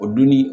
O dunni